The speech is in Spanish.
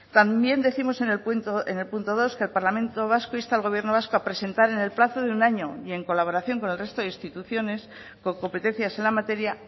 también décimos en el punto dos que el parlamento vasco insta al gobierno vasco a presentar en el plazo de un año y en colaboración con el resto de instituciones con competencias en la materia